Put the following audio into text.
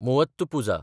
Muvattupuzha